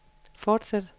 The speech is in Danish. fortsæt